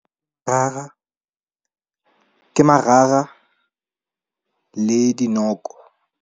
Merara ke marara le dinoko.